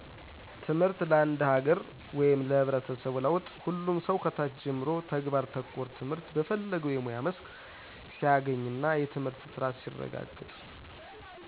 ትምህርት ለአንድ ሀገር ወይም ለህብረተሰቡ ለውጥ ሁሉም ሰው ከታች ጀምሮ ተግባር ተኮር ትምህርት በፈለገው የሙያ መስክ ሲያገኝና የትምህርት ጥራት ሲረጋገጥ።